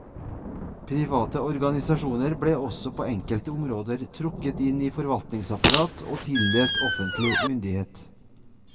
Private organisasjoner ble også på enkelte områder trukket inn i forvaltningsapparatet og tildelt offentlig myndighet.